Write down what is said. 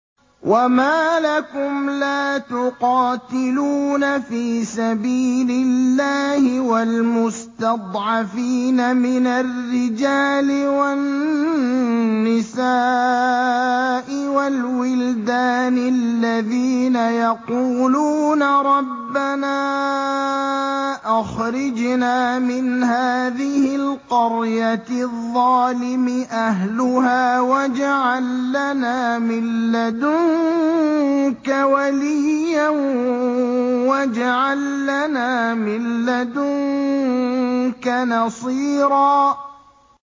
وَمَا لَكُمْ لَا تُقَاتِلُونَ فِي سَبِيلِ اللَّهِ وَالْمُسْتَضْعَفِينَ مِنَ الرِّجَالِ وَالنِّسَاءِ وَالْوِلْدَانِ الَّذِينَ يَقُولُونَ رَبَّنَا أَخْرِجْنَا مِنْ هَٰذِهِ الْقَرْيَةِ الظَّالِمِ أَهْلُهَا وَاجْعَل لَّنَا مِن لَّدُنكَ وَلِيًّا وَاجْعَل لَّنَا مِن لَّدُنكَ نَصِيرًا